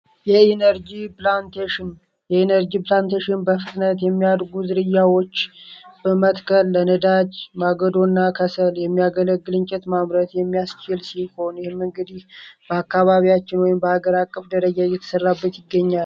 የኤነርጂ ፕላንቴሽን በፍትነት የሚያድ ጉዝርያዎች በመትከል ለነዳጅ ማገዶ እና ከሰል የሚያገለግልንጨት ማምረት የሚያስችል ሲኸሆን ይህም እንግዲህ በአካባቢያችን ወይም በሀገር አቀፍ ደረጃ የተሠራበት ይገኛል፡፡